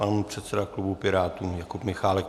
Pan předseda klubu Pirátů Jakub Michálek.